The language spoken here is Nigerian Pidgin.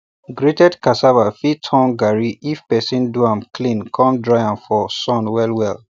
grated cassava fit turn garri if person do am clean com dry am for sun well well